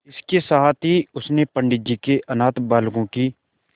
इसके साथ ही उसने पंडित जी के अनाथ बालकों की